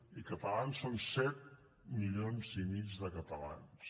i els catalans són set milions i mig de catalans